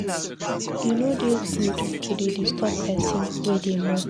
E no dey good to dey disturb pesin wey dey mourn.